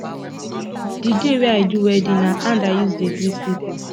di day wey i do wedding na hand i use dey greet pipo